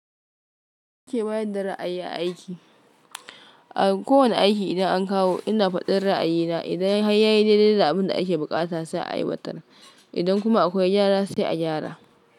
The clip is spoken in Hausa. Ku ke bayar da ra'ayi a aiki? A kowane aiki idan an kawo ina faɗin ra'ayina, idan hayya yi daidai da abin da ake buƙata sai a ai watar, idan kuma akwai gyara sai a gyara.